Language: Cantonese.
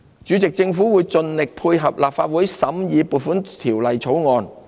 主席，政府會盡力配合立法會審議《2019年撥款條例草案》。